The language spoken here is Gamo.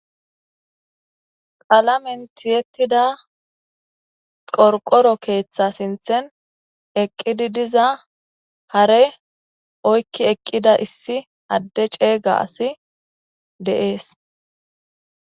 Palamenti yettida qorqoro keeththa sinthen eqqidi diza hare oykki eqqida issi adde ceeyga asi deees.